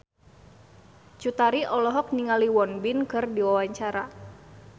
Cut Tari olohok ningali Won Bin keur diwawancara